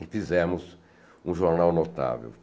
e fizemos um jornal notável.